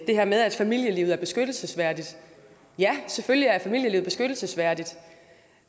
her med at familielivet er beskyttelsesværdigt ja selvfølgelig er familielivet beskyttelsesværdigt